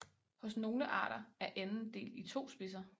Hos nogle arter er enden delt i to spidser